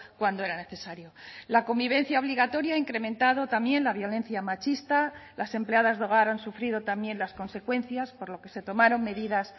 cuando era necesario la convivencia obligatoria ha incrementado también la violencia machista las empleadas de hogar han sufrido también las consecuencias por lo que se tomaron medidas